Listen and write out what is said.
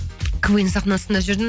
квн ның сахнасында жүрдім